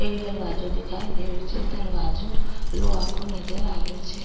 एक दरवाजो दिखाई दे रहे छे दरवाजो लोहा को नजर आ रह छे।